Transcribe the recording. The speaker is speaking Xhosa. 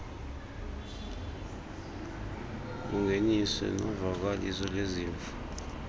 bungeniswe novakaliso lwezimvo